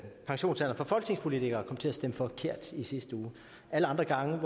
pensionsalderen for folketingspolitikere kom til at stemme forkert i sidste uge alle andre gange